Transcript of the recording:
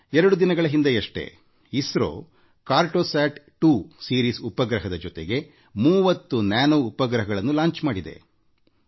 ಎರಡು ದಿನಗಳ ಹಿಂದಷ್ಟೇ ಇಸ್ರೋ ಕಾರ್ಟೋಸ್ಯಾಟ್ 2 ಸರಣಿಯಉಪಗ್ರಹದ ಜೊತೆಗೆ 30 ನ್ಯಾನೋಉಪಗ್ರಹಗಳನ್ನು ಯಶಸ್ವಿಯಾಗಿ ಉಡಾವಣೆಮಾಡಿದೆ